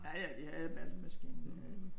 Ja ja de havde malkemaskiner det havde de